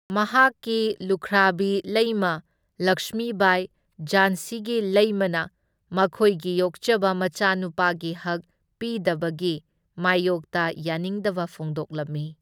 ꯃꯍꯥꯛꯀꯤ ꯂꯨꯈ꯭ꯔꯥꯕꯤ ꯂꯩꯃ ꯂꯛꯁꯃꯤꯕꯥꯏ, ꯓꯥꯟꯁꯤꯒꯤ ꯂꯩꯃꯅ ꯃꯈꯣꯢꯒꯤ ꯌꯣꯛꯆꯕ ꯃꯆꯥꯅꯨꯄꯥꯒꯤ ꯍꯛ ꯄꯤꯗꯕꯒꯤ ꯃꯥꯢꯌꯣꯛꯇ ꯌꯥꯅꯤꯡꯗꯕ ꯐꯣꯡꯗꯣꯛꯂꯝꯃꯤ꯫